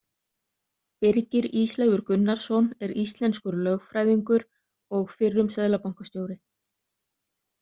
Birgir Ísleifur Gunnarsson er íslenskur lögfræðingur og fyrrum seðlabankastjóri.